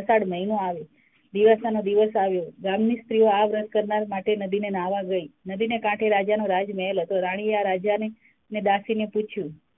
અષાઢ મહિનો આવ્યો દીવાસાનો દિવસ આવ્યો. ગામ ની સ્ત્રીઑ આ વ્રત કરનાર માટે નદીએ નાહવા ગયી. નદીને કાંઠે રાજાનો રાજમહેલ હતો રાણીએ આ રાજાને દાસીને પૂછ્યું.